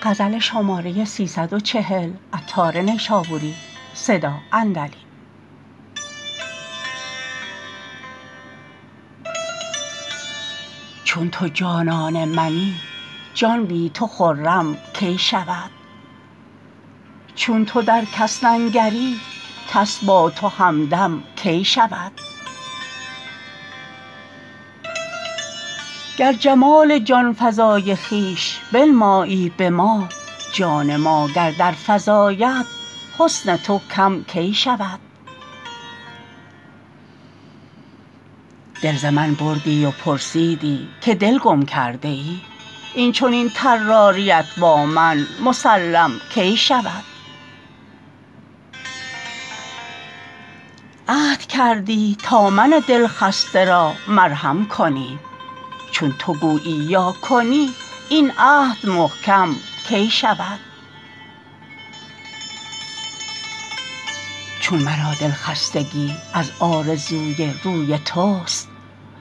چون تو جانان منی جان بی تو خرم کی شود چون تو در کس ننگری کس با تو همدم کی شود گر جمال جانفزای خویش بنمایی به ما جان ما گر در فزاید حسن تو کم کی شود دل ز من بردی و پرسیدی که دل گم کرده ای این چنین طراریت با من مسلم کی شود عهد کردی تا من دل خسته را مرهم کنی چون تو گویی یا کنی این عهد محکم کی شود چون مرا د ل خستگی از آرزوی روی توست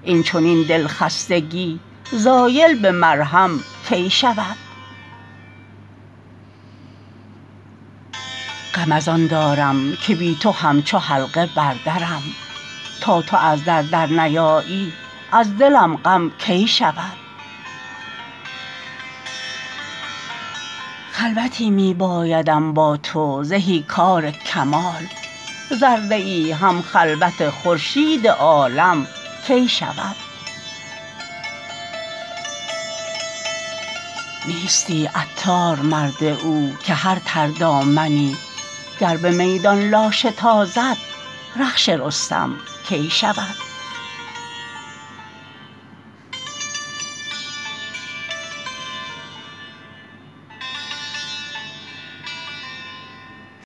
این چنین د ل خستگی زایل به مرهم کی شود غم از آن دارم که بی تو همچو حلقه بر درم تا تو از در در نیایی از دلم غم کی شود خلوتی می بایدم با تو زهی کار کمال ذره ای هم خلوت خورشید عالم کی شود نیستی عطار مرد او که هر تر دامنی گر به میدان لاشه تازد رخش رستم کی شود